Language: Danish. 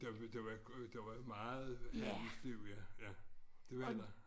Der var der var der der var meget handelsliv ja ja det var der